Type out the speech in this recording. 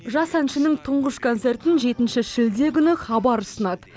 жас әншінің тұңғыш концертін жетінші шілде күні хабар ұсынады